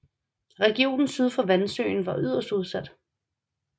Regionen syd for Vansøen var yderst udsat